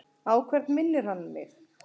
Á hvern minnir hann mig?